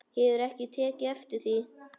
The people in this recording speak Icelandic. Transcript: Hefurðu ekki tekið eftir því?